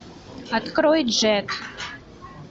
открой джетт